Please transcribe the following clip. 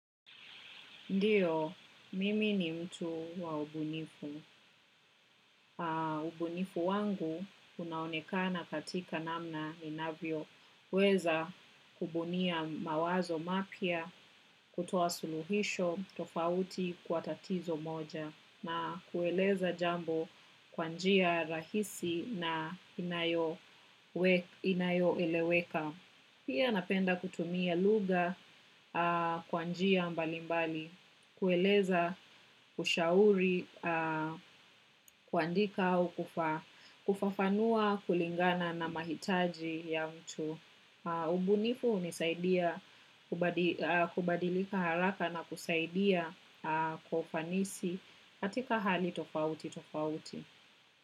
Ndiyo, mimi ni mtu wa ubunifu. Ubunifu wangu unaonekana katika namna inavyoweza kubunia mawazo mapya, kutoa suluhisho tofauti kwa tatizo moja, na kueleza jambo kwa njia rahisi na inayowe inayoeleweka. Pia napenda kutumia lugha kwa njia mbali mbali, kueleza, kushauri, kuandika au kufa kufafanua kulingana na mahitaji ya mtu. Ubunifu hunisaidia kubadi kubadilika haraka na kusaidia kwa ufanisi katika hali tofauti tofauti.